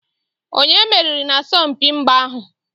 Onye meriri n'asọmpi mgba ahụ?